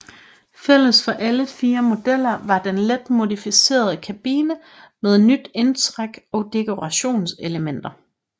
Fælles for alle fire modeller var den let modificerede kabine med nyt indtræk og dekorationselementer